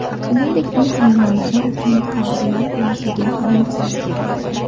Shuningdek, uy hayvonlari uchun qabrlar bo‘lishiga ham ruxsat beriladi.